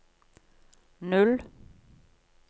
null